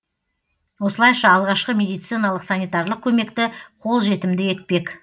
осылайша алғашқы медициналық санитарлық көмекті қолжетімді етпек